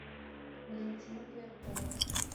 валентина пояркова